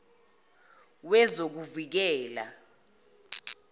wezokuvikela